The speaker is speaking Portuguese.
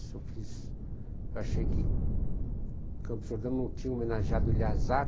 Essa eu fiz... Eu achei que que Campo de Jordão não tinha homenageado